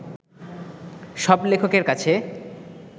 সব লেখকের কাছে